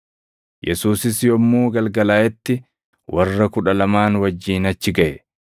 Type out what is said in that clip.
Yesuusis yommuu galgalaaʼetti warra Kudha Lamaan wajjin achi gaʼe.